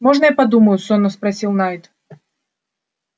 можно я подумаю сонно спросил найд